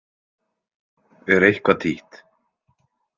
Er eitthvað títt?